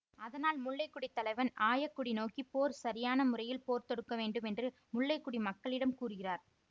அதனால் முல்லை கொடி தலைவன் ஆயக்குடி நோக்கி போர் சரியான முறையில் போர் தொடுக்க வேண்டும் என்று முல்லை கொடி மக்களிடம் கூறுகிறார்